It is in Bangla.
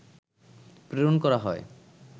প্রেরণ করা হয়